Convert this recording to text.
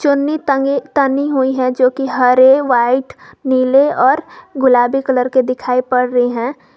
चुन्नी टंगी तनी हुई है जो की हरे व्हाइट नीले और गुलाबी कलर के दिखाई पड़ रही है।